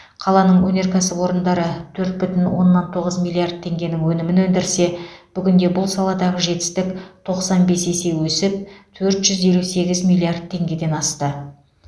қаланың өнеркәсіп орындары төрт бүтін оннан тоғыз миллиард теңгенің өнімін өндірсе бүгінде бұл саладағы жетістік тоқсан бес есе өсіп төрт жүз елу сегіз миллиард теңгеден асты